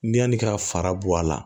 Yanni ka fara bɔ a la